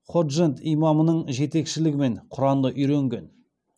ходжент имамының жетекшілігімен құранды ұйренген